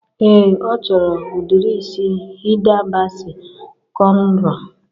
Ee, ọ chọrọ udiri isi Hida Basi kọnro